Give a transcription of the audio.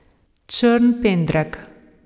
Črn pendrek.